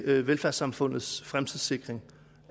til velfærdssamfundets fremtidssikring